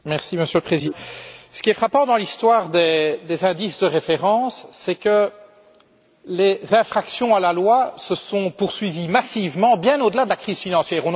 Monsieur le Président, ce qui est frappant dans l'histoire des indices de référence, c'est que les infractions à la loi se sont poursuivies massivement, bien au delà de la crise financière.